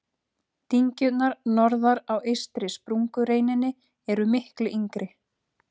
Dyngjurnar norðar á eystri sprungureininni eru miklu yngri.